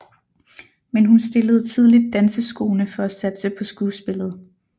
Men hun stillede tidligt danseskoene for at satse på skuespillet